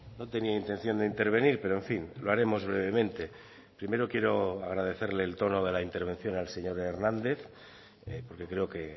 no tenía intención de intervenir pero en fin lo haremos brevemente primero quiero agradecerle el tono de la intervención al señor hernández porque creo que